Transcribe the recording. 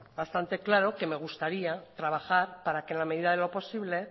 bastante claro que me gustaría trabajar para que en la medida de lo posible